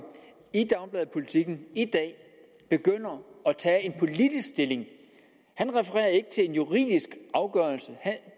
i dagbladet politiken i dag begynder at tage en han refererer ikke til en juridisk afgørelse